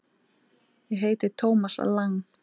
Ég heiti Thomas Lang.